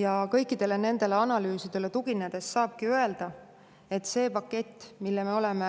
Ja kõikidele nendele analüüsidele tuginedes saabki öelda, et see pakett, mille me oleme